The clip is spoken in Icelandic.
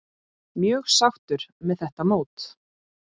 Mjög sáttur með þetta mót.